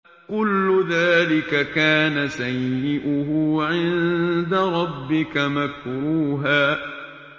كُلُّ ذَٰلِكَ كَانَ سَيِّئُهُ عِندَ رَبِّكَ مَكْرُوهًا